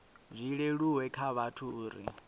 zwi leluwe kha vhathu uri